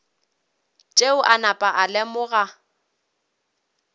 tšeo a napa a lemoga